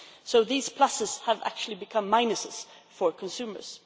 So these pluses have actually become minuses for consumers.